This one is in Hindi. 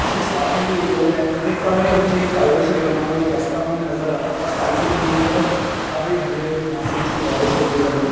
इसके साथ में भी एक और है हम देख पा रहे है नीचे टाइल्स से बना हुआ एक रास्ता हमें नजर आ रहा है और साइड में दोनों तरफ काफी हरी-हरी घासे सी पौधे से उगे पड़े हैं।